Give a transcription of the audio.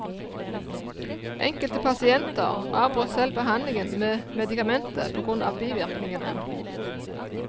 Enkelte pasienter avbrøt selv behandlingen med medikamentet på grunn av bivirkningene.